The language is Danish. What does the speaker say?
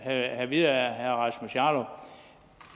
have at vide af herre rasmus jarlov